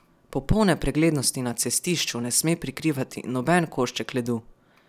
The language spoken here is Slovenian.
Popolne preglednosti na cestišču ne sme prikrivati noben košček ledu.